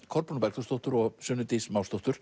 Kolbrúnu Bergþórsdóttur og Sunnu Dís